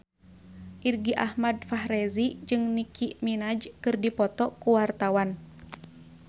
Irgi Ahmad Fahrezi jeung Nicky Minaj keur dipoto ku wartawan